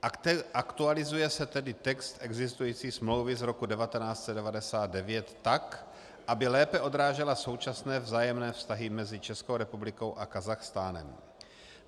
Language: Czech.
Aktualizuje se tedy text existující smlouvy z roku 1999 tak, aby lépe odrážela současné vzájemné vztahy mezi Českou republikou a Kazachstánem.